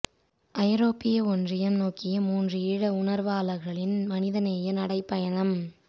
ஐரோப்பிய ஒன்றியம் நோக்கிய மூன்று ஈழ உணர்வாளர்களின் மனிதநேய நடை பயணம்